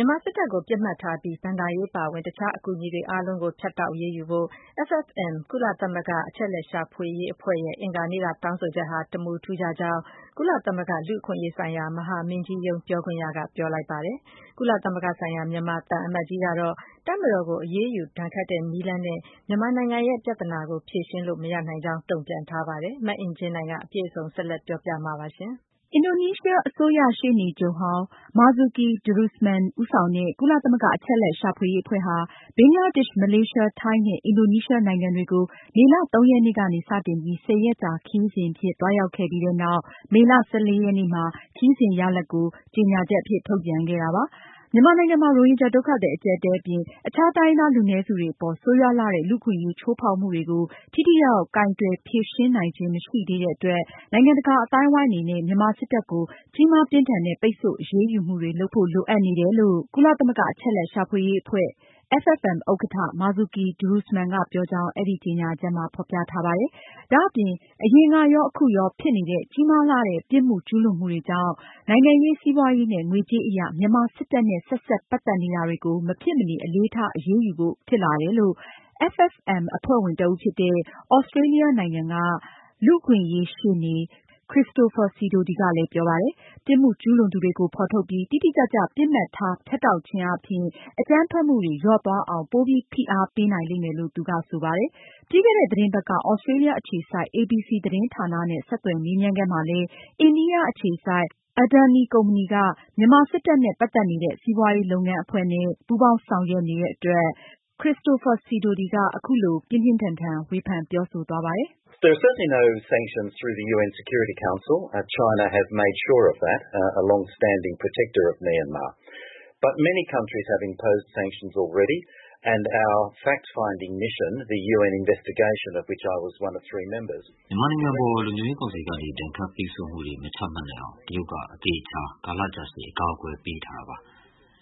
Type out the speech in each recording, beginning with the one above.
ြန်မာစစ်တပ်ကို ပစ်မှတ်ထားပြီး ဘဏ္ဍာရေးအပါအဝင် အခြားအကူအညီတွေ အားလုံးကို ဖြတ်တောက်အရေးယူဖို့ FFM ကုလသမဂ္ဂအချက်အလက်ရှာဖွေရေးအဖွဲ့ရဲ့ အင်္ဂါနေ့က ထုတ်ပြန်ချက်မှာ အဆိုပြုခဲ့တာပါ။ မအင်ကြင်းနိုင်က အပြည့်အစုံကို ဆက်လက်တင်ပြမှာပါ။ အင်ဒိုနီးရှား အစိုးရရှေ့နေချုပ်ဟောင်း Marzuki Darusman ဦးဆောင်တဲ့ ကုလသမဂ္ဂအချက် အလက်ရှာဖွေရေးအဖွဲ့ဟာ ဘင်္ဂလားဒေ့ရှ်၊ မလေးရှား၊ ထိုင်းနဲ့ အင်ဒိုနီးရှား နိုင်ငံတွေကို မေလ ရက်နေ့ကနေ စတင်ပြီး ၁၀ ရက်ကြာခရီးစဉ်အဖြစ် သွားရောက်ခဲ့ပြီးနောက် မေလ ရက်နေ့မှာ ခရီးစဉ် ရလာဒ်အဖြစ် ကြေညာချက် ထုတ်ပြန်ခဲ့တာပါ။ မြန်မာနိုင်ငံမှာ ရိုဟင်ဂျာ ဒုက္ခသည် အကျပ်အတည်းအပြင် အခြားတိုင်းရင်းသားလူနည်းစု တွေအပေါ် ဆိုးရွားလှတဲ့ လူ့အခွင့်အရေး ချိုးဖောက်မှုတွေကို ထိထိရောက်ရောက် ကိုင်တွယ်ဖြေရှင်းနိုင်ခြင်း မရှိသေးတဲ့အတွက် နိုင်ငံတကာအသိုင်းအဝိုင်းအနေနဲ့ မြန်မာစစ်တပ်ကို ကြီးမားပြင်းထန်တဲ့ ပိတ်ဆို့အရေးယူမှုတွေ လုပ်ဖို့ လိုအပ်နေကြောင်း ကုလသမဂ္ဂအချက်အလက်ရှာဖွေရေး အဖွဲ့ ဥက္ကဌ Marzuki Darusman ကပြောကြောင်း အဲဒီကြေညာချက်မှာ ဖေါ်ပြထားပါတယ်။ ဒါအပြင် အရင်ကရော၊ အခုရော ဖြစ်နေတဲ့ ကြီးမားလှတဲ့ ပြစ်မှုကျူးလွန်မှုတွေကြောင့် နိုင်ငံရေး၊ စီးပွားရေးနဲ့ ငွေကြေးအရ မြန်မာစစ်တပ်နဲ့ ဆက်စပ်ပတ်သက်နေတာတွေကို မဖြစ်မနေ အလေးထား အရေးယူဖို့ ဖြစ်လာကြောငး FFM အဖွဲ့ဝင်တဦးဖြစ်တဲ့ သြစတြေးလျနိုင်ငံက နိုင်ငံတကာ လူ့အခွင့်အရေးဆိုင်ရာ အတိုင်ပင်ခံပုဂ္ဂိုလ် Christopher Dominic Sidoti ကလည်း ပြောပါတယ်။ ပြစ်မှုကျူးလွန်သူတွေကို ဖေါ်ထုတ်ပြီး တိတိကျကျ ပစ်မှတ်ထား ဖြတ်တောက်ခြင်းအားဖြင့် အကြမ်းဖက်မှုတွေ လျော့သွားအောင် ပိုပြီး ဖိအားပေးနိုင်လိမ့်မယ်လို့ သူက ပြောပါတယ်။ ပြီးခဲ့တဲ့သတင်းပတ်က သြစတြေးလျအခြေစိုက် ABC သတင်းဌာနနဲ့ ဆက်သွယ်မေးမြန်းခန်းမှာလည်း အိန္ဒိယအခြေစိုက် Adani ကုမ္ပဏီက မြန်မာစစ်တပ်နဲ့ ပတ်သက်နေတဲ့ စီးပွားရေးလုပ်ငန်းအဖွဲ့နဲ့ ပူးပေါင်းဆောင်ရွက်နေတဲ့အတွက် Christopher Dominic Sidoti က အခုလို ဝေဖန်ပြောဆိုခဲ့ပါတယ်။ “ မြန်မာနိုင်ငံအပေါ် လုံခြုံရေးကောင်စီကနေ ဒဏ်ခတ်ပိတ်ဆို့မှုတွေ မချမှတ်နိုင်အောင် တရုတ်က အသေအချာ ကာလကြာရှည် အကာအကွယ်ပေးထားတာ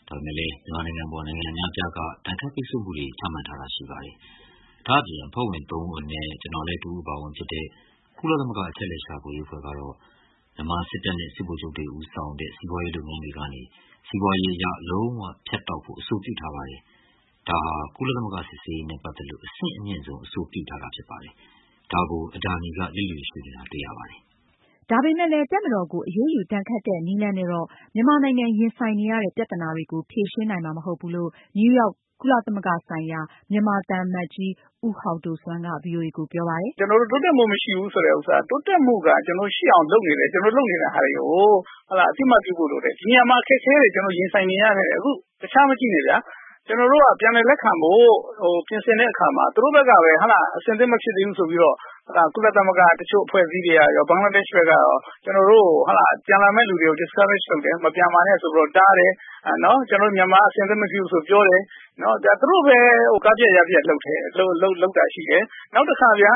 ဖြစ်ပါတယ်။ ဒါပေမယ့်လို့လည်း မြန်မာနိုင်ငံအပေါ် နိုင်ငံ အများအပြားက ဒဏ်ခတ်ပိတ်ဆို့မှုတွေ ချမှတ်ထားတာ ရှိပါတယ်။ ဒါ့အပြင် အဖွဲ့ဝင်သုံးဦးအနက် ကျနော်လည်း တဦးအပါအဝင်ဖြစ်တဲ့ ကုလသမ္မဂ အချက်အလက် ရှာဖွေရေးအဖွဲ့ကတော့ မြန်မာစစ်တပ်နဲ့ စစ်ဗိုလ်ချုပ်တွေ ဦးဆောင်တဲ့ စီးပွားရေးလုပ်ငန်းတွေကနေ စီးပွားရေးအရ လုံးဝ ဖြတ်တောက်ဖို့ အဆိုပြုထားပါတယ်။ ဒါဟာ ကုလသမဂ္ဂ စစ်ဆေးရေးနဲ့ ပတ်သက်လို့ အဆင့်အမြင့်ဆုံး အဆိုပြုထားတာဖြစ်ပါတယ်။ ဒါကို Adani က လျစ်လျှူရှုနေတာ တွေ့ရပါတယ်။” ဒါပေမဲ့လည်း တပ်မတော်ကို အရေးယူဒဏ်ခတ်တဲ့ နည်းလမ်းနဲ့တော့ မြန်မာနိုင်ငံ ရင်ဆိုင်နေရတဲ့ ပြဿနာတွေကို ဖြေရှင်းနိုင်မှာ မဟုတ်ဘူးလို့ နယူးရောက် ကုလသမဂ္ဂဆိုင်ရာ မြန်မာသံအမတ် ဦးဟောက်ဒိုဆွမ်းက ဗွီအိုအေကိုပြောပါတယ်။ “ ကျနော်တို့ တိုးတက်မှုမရှိဘူးဆိုတဲ့ဟာကတော့ တိုးတက်မှုကတော့ ကျနော်တို့ ရှိအောင်လုပ်နေတယ်။ ကျနော်တို့ လုပ်နေတာတွေကို အသိအမှတ်ပြုဖို့လိုတယ်။ ဒီနေရာမှာ အခက်အခဲတွေ ကျနော်တို့ရင်ဆိုင်နေရတယ်။ အခု တခြားမကြည့်နဲ့ဗျာ။ ကျနော်တို့က ပြန်လည်လက်ခံဖို့ ပြင်ဆင်တဲ့အခါမှာ သူတို့ဘက်ကပဲ အဆင်သင့်မဖြစ်သေးဘူးဆိုပြီးတော့ ကုလသမဂ္ဂက တချို့အဖွဲ့အစည်းတွေကရော၊ ဘင်္ဂလားဒေ့ရှ်ဘက်ကရော ပြန်လာမယ့်လူတွေကို discourage လုပ်တယ်။ မပြန်ပါနဲ့ ဆိုပြီးတော့ တားတယ်။ မြန်မာဘက်က အဆင်သင့်မဖြစ်ဘူးဆိုပြီးတော့ ပြောတယ်။ ဒါ သူတို့ပဲ ပျက်အောင် လုပ်ခဲ့တာတွေရှိတယ်။ နောက်တခါဗျာ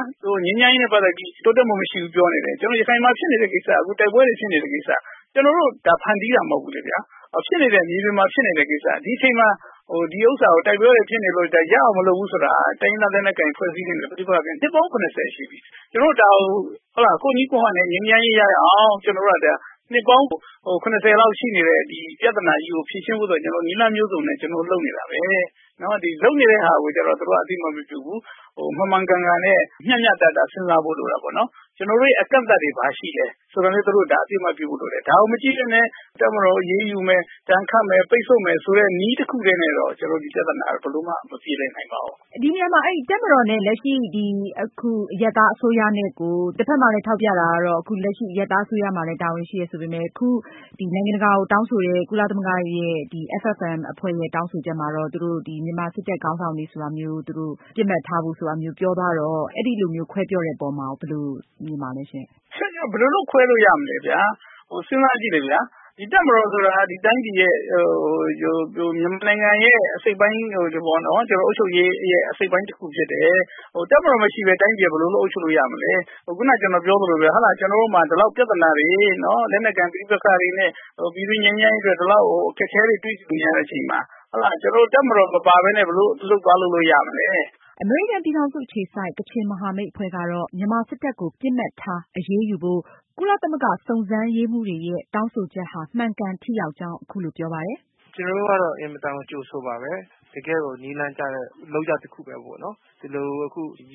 ငြိမ်းချမ်းရေးနဲ့ ပတ်သက်ပြီး တိုးတက်မရှိဘူးလို့ပြောတယ်။ ကျနော်တို့ ရခိုင်မှာဖြစ်နေတဲ့ကိစ္စက တိုက်ပွဲတွေဖြစ်နေတဲ့ကိစ္စက ကျနော်တို့ ဖန်တီးတာမဟုတ်ဘူးလေဗျာ။ မြေပြင်မှာဖြစ်နေတဲ့ ကိစ္စ ဒီအချိန်မှာ ဒါကို တိုက်ပွဲတွေဖြစ်နေလို့ ရအောင်မလုပ်ဘူးဆိုတာက တိုင်းရင်းသားလက်နက်ကိုင်တွေနဲ့ ပဋိပက္ခ ဖြစ်နေတာ နှစ်ပေါင်း ၇၀ ရှိပြီ။ ကျနော်တို့ ဒါကို ကိုယ့်နည်း ကိုယ့်ဟန်နဲ့ ငြိမ်းချမ်းရေးရအောင် ကျနော်တို့ကဒါ နှစ်ပေါင်း ၇၀ လောက်ရှိနေတဲ့ ပြဿနာကြီးကို ဖြေရှင်းဖို့အတွက် နည်းလမ်းမျိုးစုံနဲ့ ကျနော်တို့လုပ်နေတာပဲ။လုပ်နေတဲ့ဟာကို သူတို့က အသိအမှတ်မပြုဘူး။ မှန်မှန်ကန်ကန်နဲ့ မျှမျှတတ စဉ်းစားဖို့လိုတယ်။ ကျနော်တို့ရဲ့ အကန့်အသတ်တွေဘာရှိလဲ၊ ဒါကိုလည်း အသိအမှတ်ပြုဖို့လိုတယ်။ ဒါကိုမကြည့်ပဲနဲ့ တပ်မတော်ကို အရေးယူမယ် ၊ ဒဏ်ခတ်မယ် ပိတ်ဆို့မယ်ဆိုတဲ့ နည်းတခုတည်းနဲ့တော့ ဒီပြဿနာ ဘယ်လိုမှ မပြေလည်နိုင်ပါဘူး။ မေး။ ။ ဒီနေရာမှာ အခုလက်ရှိ တပ်မတော်နဲ့ အရပ်သားအစိုးရနဲ့ကို တဖက်မှာလည်း ထောက်ပြတာကို အခုလက်ရှိ အရပ်သားအစိုးရမှာလည်း တာဝန်ရှိတယ် ဆိုပေမယ့် အခုဒီ နိုင်ငံတကာကို တောင်းဆိုတဲ့ ကုလ FFM အဖွဲ့ရဲ့ တောင်းဆိုချက်မှာတော့ သူတို့ မြန်မာစစ်တပ်ခေါင်းဆောင်တွေဆိုတာမျိုး ပစ်မှတ်ထားဖို့ဆိုတာမျိုး ပြောသွားတော့ အဲလိုမျိုးခွဲပြောတဲ့အပေါ်မှာ ဘယ်လိုမြင်ပါသလဲရှင့်။ ဖြေ။ ။ ဘယ်လိုလို့ခွဲလို့ရမလဲဗျာ။ စဉ်းစားကြည့်လေ တပ်မတော်ဆိုတာက မြန်မာနိုင်ငံရဲ့ အုပ်ချုပ်ရေးရဲ့ အစိတ်အပိုင်းတခု ဖြစ်တယ်။ တပ်မတော်မရှိပဲ တိုင်းပြည်က ဘယ်လို အုပ်ချုပ်လို့ရမလဲ။ ခုန ကျနော်ပြောသလို ကျနော်တို့မှာ ဒီလောက်ပြဿနာတွေ လက်နက်ကိုင်ပဋိပက္ခတွေနဲ့ ပြည်တွင်းငြိမ်းချမ်းရေးအတွက် ဒီလောက် အခက်အခဲတွေ တွေ့ကြုံနေရတဲ့အချိန်မှာ တပ်မတော်မပါပဲနဲ့ ဘယ်လို အလုပ်သွားလုပ်လို့ ရမလဲ။ အမေရိကန်ပြည်ထောင်စုအခြေစိုက် ကချင်မဟာမိတ်အဖွဲ့ကတော့ မြန်မာစစ်တပ်ကို ပစ်မှတ်ထား အရေးယူဖို့ ကုလသမဂ္ဂ စုံစမ်းရေးမှူးတွေရဲ့ တောင်းဆိုချက်ကို ကြိုဆိုကြောင်း အခုလိုပြောပါတယ်။ “ ကျနော်တို့ကတော့ အင်မတန်မှ ကြိုဆိုပါတယ်။ တကယ့်ကို နည်းလမ်းကျတဲ့ လုပ်ရပ်တခုပဲပေါ့နော်။ ဒီလို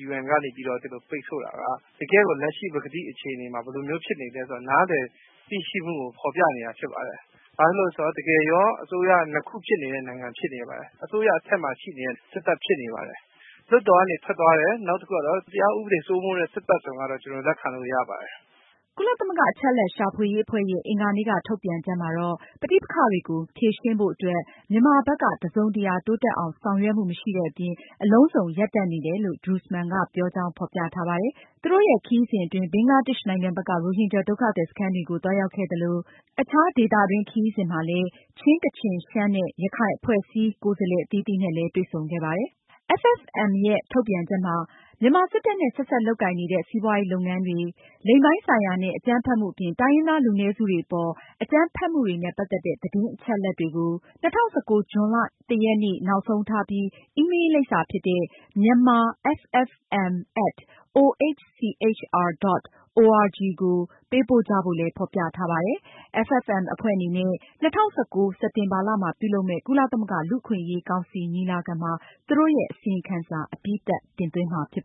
UN ကနေပြီးတော့ ပိတ်ဆို့တာက တကယ့်လက်ရှိ ပကတိအခြေအနေမှာ ဘယ်လိုမျိုးဖြစ်နေသလဲဆိုတာ နည်းလည်သိရှိမှုကို ဖော်ပြနေတာဖြစ်ပါတယ်။ ဘာဖြစ်လို့လဲဆိုတော့ တကယ် အစိုးရ နှစ်ခု ဖြစ်နေတဲ့ နိုင်ငံဖြစ်နေပါတယ်။ အစိုးရ အထက်မှာ စစ်တပ်ရှိနေပါတယ်။ လွှတ်တော်ကနေ ထွက်သွားတယ် နောက်တခုကတော့ တရားဥပဒေစိုးမိုးတဲ့ စစ်တပ် ဆိုတာ ကျနော်လက်ခံလို့ရပါတယ်။” ကုလသမဂ္ဂ အချက်အလက်ရှာဖွေရေး အဖွဲ့ရဲ့အင်္ဂါနေ့က ထုတ်ပြန်ချက်မှာတော့ ပဋိပက္ခတွေကို ဖြေရှင်းဖို့အတွက် မြန်မာဘက်က တစုံတရာတိုးတက်အောင် ဆောင်ရွက်မှုမရှိတဲ့အပြင် အလုံးစုံ ရပ်တန့်နေတယ်လို့ Darusman ကပြောကြောင်း ဖေါ်ပြထားပါတယ်။ သူတို့ရဲ့ ခရီးစဉ်အတွင်း ဘင်္ဂလားဒေ့ရှ်နိုင်ငံဘက်က ရိုဟင်ဂျာဒုက္ခသည်စခန်းတွေကို သွားရောက်ခဲ့သလို အခြား ဒေသတွင်း ခရီးစဉ်မှာလည်း ချင်း၊ ကချင်၊ ရှမ်းနဲ့ ရခိုင် အဖွဲ့အစည်း ကိုယ်စားလှယ်အသီးသီးနဲ့လည်း တွေ့ဆုံခဲ့ပါတယ်။ မြန်မာစစ်တပ်နဲ့ ဆက်စပ်လုပ်ကိုင်နေတဲ့ စီးပွားရေးလုပ်ငန်းတွေ၊ လိင်ပိုင်းဆိုင်ရာနဲ့ အကြမ်းဖက်မှုအပြင် တိုင်းရင်းသား လူနည်းစုတွေအပေါ် အကြမ်းဖက်ဖိနှိပ်မှုတွေနဲ့ ပတ်သက်တဲ့ သတင်းအချက်အလက်တွေကို ၂၀၁၉ ဇွန်လ နေ့ နောက်ဆုံးထားပြီး myanmarffm@ohchr.org ကို ပေးပို့ကြဖို့လည်း ဖေါ်ပြထားပါတယ်။ FFM အဖွဲ့အနေနဲ့ ၂၀၁၉ စက်တင်ဘာလမှာ ပြုလုပ်မယ့် ကုလသမဂ္ဂ လူ့အခွင့်အရေးကောင်စီညီလာခံမှာ အစီရင်ခံစာ အပြီးသတ် တင်သွင်းမှာဖြစ်ပါ